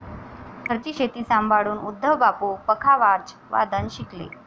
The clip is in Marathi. घरची शेती सांभाळून उद्धव बापू पखावाजवादन शिकले.